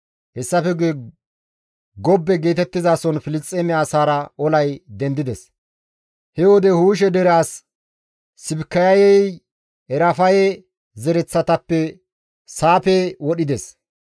Hessafe guye Gobbe geetettizason Filisxeeme asaara olay dendides. He wode Huushe dere as Sibikayey Erafaye zereththatappe Saafe wodhides.